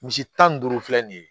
Misi tan ni duuru filɛ nin ye